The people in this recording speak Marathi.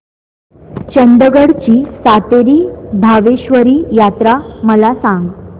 चंदगड ची सातेरी भावेश्वरी यात्रा मला सांग